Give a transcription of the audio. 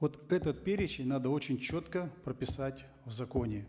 вот этот перечень надо очень четко прописать в законе